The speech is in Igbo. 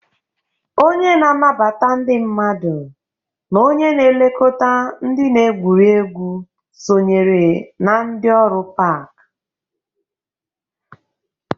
Onye na-anabata ndị mmadụ na onye na-elekọta ndị na-egwuriegwu sonyere na ndị ọrụ pak.